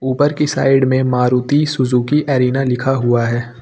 ऊपर की साइड में मारुति सुजुकी अरेना लिखा हुआ है।